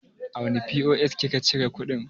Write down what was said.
A wane POS ki ka cire kuɗin?